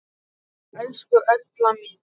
Elsku Erla mín.